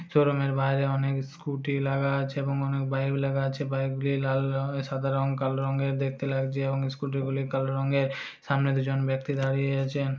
शोरूम में बाहर ओने के स्कूटी लाग ह छै एमो उनहु बाइक लाग हो छै बाइक काले रंग स्कूटी सामने से जोवन व्यक्ति जा रहे है --